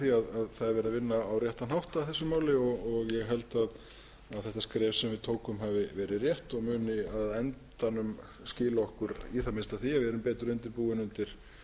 á réttan hátt að þessu máli og ég held að þetta skref sem við tókum hafi verið rétt og muni á endanum skila í það minnsta því að við erum betur undirbúin undir